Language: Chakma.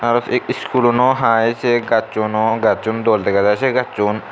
aro sey schoolano hai sey gassuno gassun dol dega jai sey gassun.